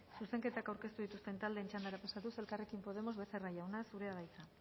zuzenketak aurkeztu dituzten taldeen txandara pasatuz elkarrekin podemos becerra jauna zurea da hitza